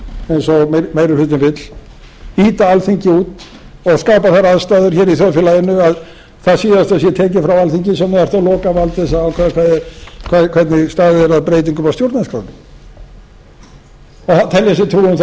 eins og meiri hlutinn vill ýta alþingi út og skapa þær aðstæður hér í þjóðfélaginu að það síðasta sé tekið frá alþingi sem átti að lokavald til að ákveða hvernig staðið er að breytingum á stjórnarskránni og telja sér trú um